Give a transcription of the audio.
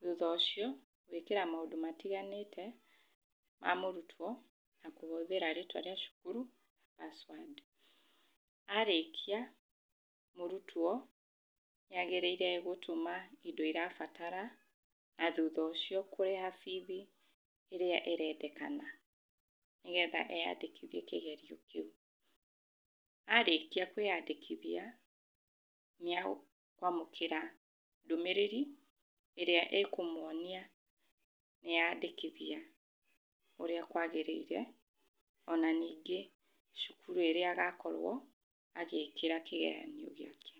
Thutha ũcio gwĩkĩra maũndũ matiganĩte ma mũrutwo na kũhũthĩra rĩtwa rĩa cukuru password. Arĩkia mũrutwo, nĩ agĩrĩire gũtũma indo irabatara na thutha ũcio kurĩha bithi ĩrĩa ĩrendekana, nĩgetha eyandĩkithie kĩgerio kĩu. Arĩkia kwĩyandĩkithia nĩa kwamũkĩra ndũmĩrĩri ĩrĩa ĩkũmuonia nĩeyandĩkithia ũrĩa kwagĩrĩire, ona ningĩ cukuru ĩrĩa agakorwo agĩkĩra kĩgeranio gĩake.